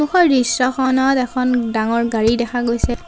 সন্মুখৰ দৃশ্যখনত এখন ডাঙৰ গাড়ী দেখা গৈছে।